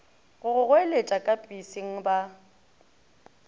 go goeletša ka peseng ba